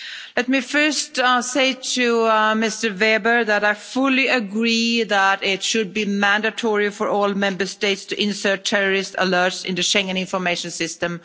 Let me first say to Mr Weber that I fully agree that it should be mandatory for all Member States to insert terrorist alerts in the Schengen Information System.